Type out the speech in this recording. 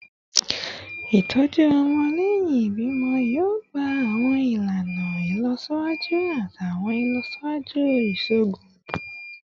Itọju ọmọ lẹhin ibimọ yoo gba awọn ilana ilọsiwaju ati awọn ilọsiwaju iṣoogun